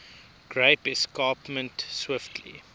great escarpment swiftly